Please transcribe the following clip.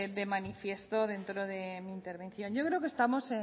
de manifiesto dentro de mi intervención yo creo que estamos